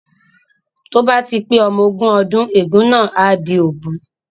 Tí ó bá ti pé ọmọ ogún ọdún ègún náà á di òbu